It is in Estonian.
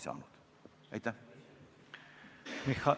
Sellest ma aru ei saanud.